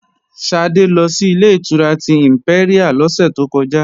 Ṣadé ló si Ilé-ìtura tí ìmpẹ́ríà lọ́sẹ̀ tó kọjá